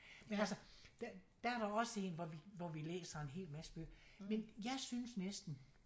Men altså der der er der også en hvor vi hvor vi læser en hel masse bøger men jeg synes næsten